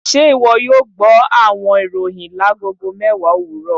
Ṣe iwọ yoo gbọ awọn iroyin lagogo mẹwa owurọ?